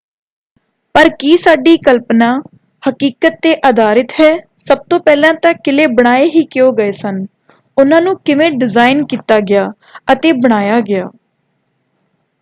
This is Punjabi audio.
ਪਰ ਕੀ ਸਾਡੀ ਕਲਪਨਾ ਹਕੀਕਤ 'ਤੇ ਆਧਾਰਿਤ ਹੈ? ਸਭ ਤੋਂ ਪਹਿਲਾਂ ਤਾਂ ਕਿਲ੍ਹੇ ਬਣਾਏ ਹੀ ਕਿਉਂ ਗਏ ਸਨ? ਉਨ੍ਹਾਂ ਨੂੰ ਕਿਵੇਂ ਡਿਜ਼ਾਇਨ ਕੀਤਾ ਗਿਆ ਅਤੇ ਬਣਾਇਆ ਗਿਆ?